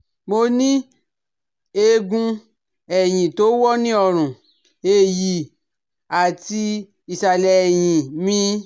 Mo ní eegun ẹ̀yìn tó wọ́ ní ọrùn, ẹ̀yì àti ìsàlẹ̀ ẹ̀yìn mi